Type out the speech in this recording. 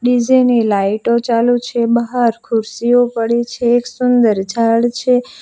DJ ની લાઈટો ચાલુ છે બહાર ખુરશીઓ પડી છે એક સુંદર ઝાડ છે.